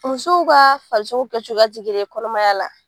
Musow ka farisoko kɛ cogoya te kelen ye kɔnɔmaya la.